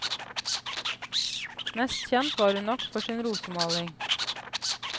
Mest kjent var hun nok for sin rosemaling.